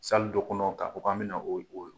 dɔ kɔnɔ k'a fɔ k'an bɛ na